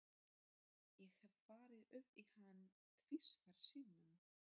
Ég hef farið upp í hann tvisvar sinnum.